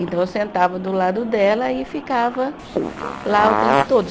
Então eu sentava do lado dela e ficava lá o tempo todo.